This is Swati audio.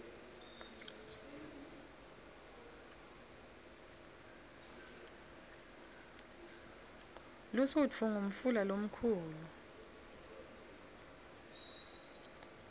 lusutfu ngumfula lomkhulu